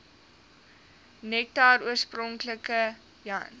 nektar oorspronklik jan